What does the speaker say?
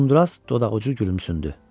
Uzundraz dodaqucu gülümsündü.